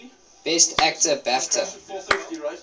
best actor bafta